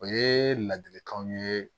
O ye ladilikanw ye